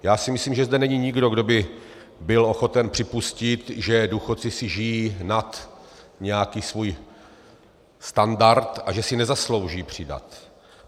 Já si myslím, že zde není nikdo, kdo by byl ochoten připustit, že důchodci si žijí nad nějaký svůj standard a že si nezaslouží přidat.